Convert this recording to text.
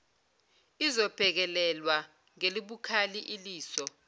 izobhekelelwa ngelibukhali iliso